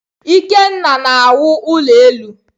Ikenna na-awụ ulo elu.